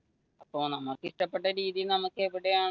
അപ്പൊ നമുക്ക് ഇഷ്ടപെട്ട രീതി എവിടെയാണോ